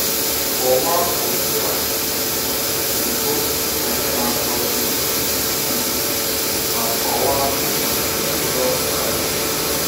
Kọwaa ụdị ala mbụ na ihe atụ Jisọs, um ma kọwaa um ihe ọ pụtara.